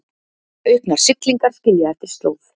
Auknar siglingar skilja eftir slóð